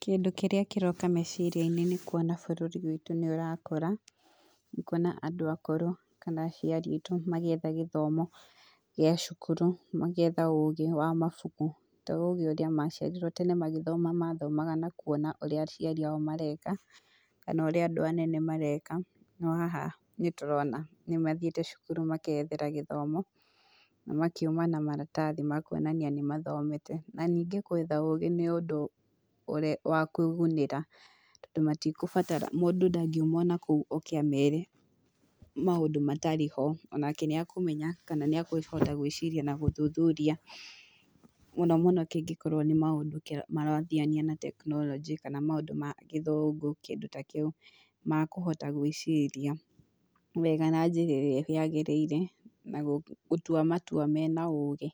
Kĩndũ kĩrĩa kĩroka meciria-inĩ nĩ kuona bũrũri witũ nĩ ũrakũra, kuona andũ akũrũ kana aciari aitũ magĩetha gĩthomo gĩa cukuru, magĩetha ũgĩ wa mabuku, to ũgĩ ũrĩa maciarirwo, tene magĩthoma mathomaga na kuona ũrĩa aciari ao mareka, kana ũrĩa andũ anene mareka, no haha nĩ tũrona nĩ mathiĩte cukuru makeyethera gĩthomo, na magakiuma na maratathi makuonania nĩ mathomete, na ningĩ gwetha ũgĩ nĩ ũndũ wa kwĩgunĩra, tondũ matikũbatara, mũndũ ndangiuma o nakũu oke a mere maũndũ matarĩ ho, onake nĩ akũmenya kana nĩ akũhota gwĩciria na gũthuthuria mũno mũno kĩngĩkorwo nĩ maũndũ kĩrathiania na tekinoronjĩ kana maũndũ ma gĩthũngũ kĩndũ ta kĩu, makũhota gwĩciria wega na njĩra ĩrĩa yagĩrĩire na gũtua matua mena ũgĩ